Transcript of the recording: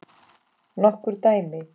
Nokkur dæmi